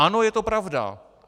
Ano, je to pravda.